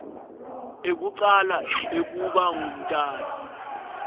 ekucala ekuba ngumtali